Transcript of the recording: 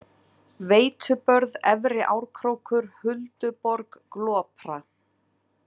Veitubörð, Efri-Árkrókur, Hulduborg, Glopra